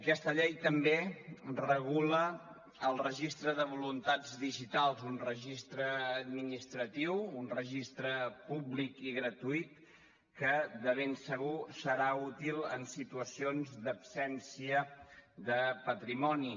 aquesta llei també regula el registre de voluntats digitals un registre administratiu un registre públic i gratuït que de ben segur serà útil en situacions d’absència de patrimoni